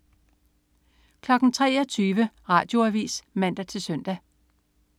23.00 Radioavis (man-søn)